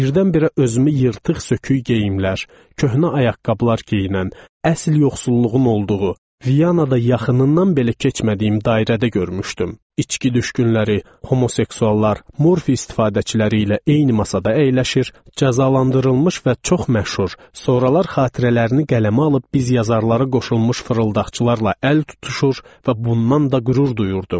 Birdən-birə özümü yırtıq-sökük geyimlər, köhnə ayaqqabılar geyinən, əsl yoxsulluğun olduğu, Vyanada yaxınından belə keçmədiyim dairədə görmüşdüm: içki düşkünləri, homoseksuallar, morfi istifadəçiləri ilə eyni masada əyləşir, cəzalandırılmış və çox məşhur, sonralar xatirələrini qələmə alıb biz yazarları qoşulmuş fırıldaqçılarla əl tutuşur və bundan da qürur duyurdum.